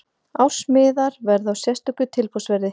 Ársmiðar verða á sérstöku tilboðsverði.